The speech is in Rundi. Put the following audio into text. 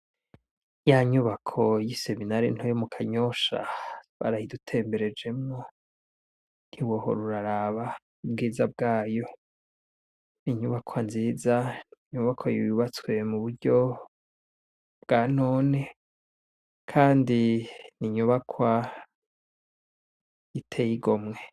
Ya nyubako y'iseminare ntoya yo mu kanyosha, barayidutemberejemwo. Ntiwohora uraraba ubwiza bwayo! Ni inyubakwa nziza, inyubakwa yubatswe muburyo bwa none, kandi, n'inyubakwa iteye igomwe.